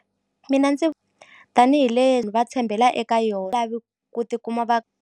Mina ndzi tanihi leni va tshembela eka yona lavi ku tikuma va.